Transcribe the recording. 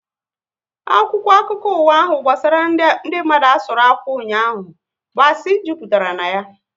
Akwụkwọ akụkọ ụwa ahu gbasara ndị mmadu asụru akwụ ụnyaahụ bụ asị jupụtara ya